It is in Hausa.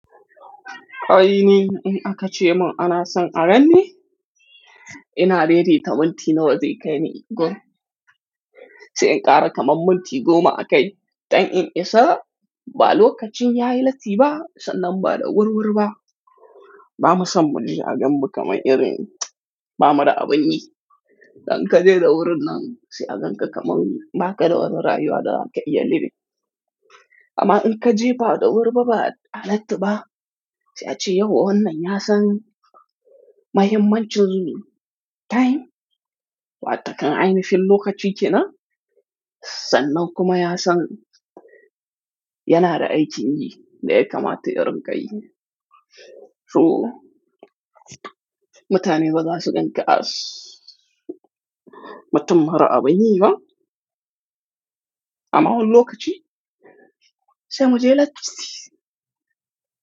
Ƙa'ini in aka ce mun ana son a ranni, ina lede ta minti nawa zai kai ni gon. Sai in ƙara kaman minti goma a kai, don in isa, ba lokacin yayi lati ba sannan ba da wurwuri ba. Ba ma san bani a gamu kamar irin ba muda abun yi. Dan ka je da wurin nan sai a ganka kamar ba ka da warwarayuwada a ke iyali be. Amma in ka je ba da wuri ba ba ta halattu ba, sai a ce yau wannan ya san mahimmancin time, wataƙan ainihin lokaci ke nan, sannan kuma ya san yana da aikin yi dai kamar ta irinka yi. To, mutane gaza su ganka as, mutum mara abun yi ma. Amma wannan lokaci, sai mu je latif.